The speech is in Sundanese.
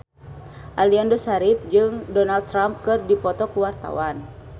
Aliando Syarif jeung Donald Trump keur dipoto ku wartawan